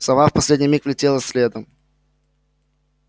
сова в последний миг влетела следом